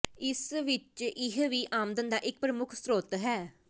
ਇਸ ਵਿਚ ਇਹ ਵੀ ਆਮਦਨ ਦਾ ਇੱਕ ਪ੍ਰਮੁੱਖ ਸਰੋਤ ਹੈ